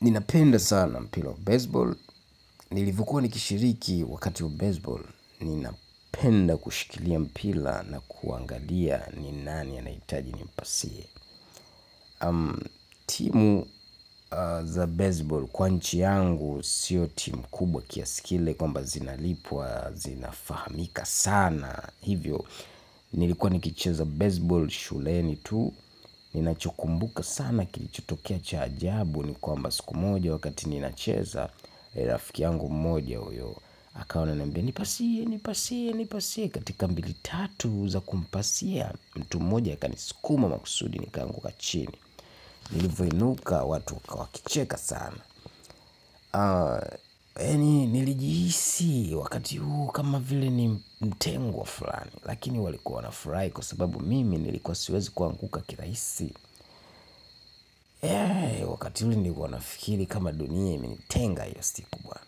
Ninapenda sana mpira wa baseball. Nilivokuwa nikishiriki wakati wa baseball ninapenda kushikilia mpila na kuangalia ni nani anahitaji nimpasie am. Timu za baseball kwa nchi yangu siyo timu kubwa kiasi kile kwamba zinalipwa, zinafahamika sana. Hivyo, nilikuwa nikicheza baseball shuleni tu. Ninachokumbuka sana kilichotokea cha ajabu ni kwamba siku moja wakati ninacheza rafiki yangu mmoja uyo akawa ananiambia nipasie nipasie nipasie katika mbili tatu za kumpasia mtu mmoja akanisikuma makusudi nikaanguka chini. Nilivoinuka watu wakwa wakicheka sana yaani nilijihisi wakati huo kama vile ni mtengwa fulani. Lakini walikuwa wanafurahi kwa sababu mimi nilikuwa siwezi kuanguka kirahisi eee, wakati huu nilikuwa nafikiri kama dunia, imenitenga ile siku bwana.